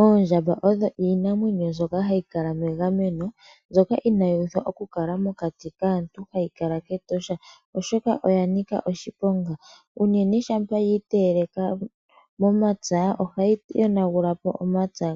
Oondjamba odho iinamwenyo mbyoka hayi kala megameno inayi pumbwa okukala mokati kaantu. Ohayi kala kEtosho oshoka oya nika oshiponga unene shampa yiiteyele momapya ohayi yonagugula omapya